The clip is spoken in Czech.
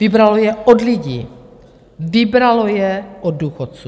Vybralo je od lidí, vybralo je od důchodců.